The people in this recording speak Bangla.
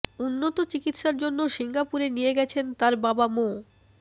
উন্নত চিকিৎসার জন্য সিঙ্গাপুরে নিয়ে গেছেন তার বাবা মো